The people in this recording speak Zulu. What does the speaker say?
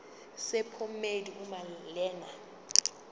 sephomedi uma lena